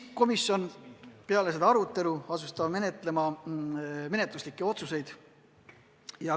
Pärast seda arutelu tegi komisjon menetluslikud otsused.